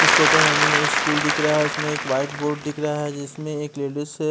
इस फोटो में हमे व स्कूल दिख रहा है इसमें एक वाइट बोर्ड दिख रहा है जिसमे एक लेडीज --